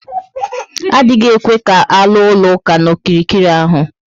Adịghị ekwe ka aluo ụlọ ụka na okirikiri ahụ